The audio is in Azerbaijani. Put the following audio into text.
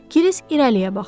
Kiris irəliyə baxdı.